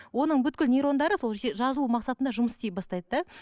оның бүкіл нейрондары сол жазылу мақсатында жұмыс істей бастайды да